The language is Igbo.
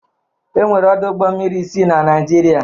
Enwere ọdụ ụgbọ mmiri isii na Naịjirịa.